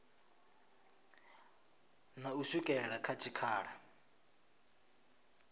na u swikela kha tshikhala